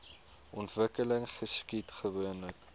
ontwikkeling geskied gewoonlik